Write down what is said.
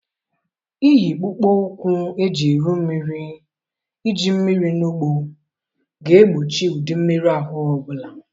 Iyi kpụkpọ ụkwụ eji eru mmiri Iji mmiri na ugbo ga-egbochi ụdị mmerụ ahụ ọ bụla.